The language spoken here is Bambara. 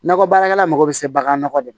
Nakɔ baarakɛla mago bɛ se bagan nɔgɔ de ma